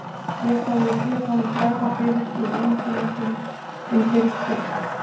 Síðast hafði ég séð honum bregða fyrir í heimildarmyndinni um Byrgið.